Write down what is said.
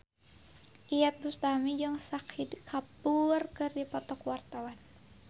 Iyeth Bustami jeung Shahid Kapoor keur dipoto ku wartawan